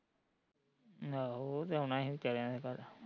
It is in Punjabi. ਨੈ ਉਹ ਤੇ ਆਉਣਾ ਸੀ ਵਿਚਾਰਿਆ ਦੇ ਘਰ